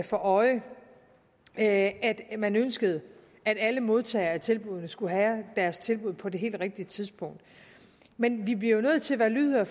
for øje at man ønskede at alle modtagere af tilbuddene skulle have deres tilbud på det helt rigtige tidspunkt men vi bliver jo nødt til at være lydhøre